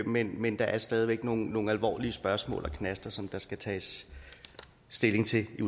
men men der er stadig væk nogle nogle alvorlige spørgsmål og knaster som der skal tages stilling til i